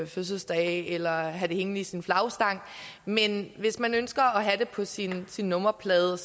fødselsdage eller have det hængende i sin flagstang men hvis man ønsker at have det på sin sin nummerplade